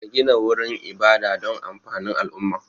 Ka gina wurin ibada don amfanin al'umma